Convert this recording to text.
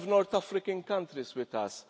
are not alone. We have North African countries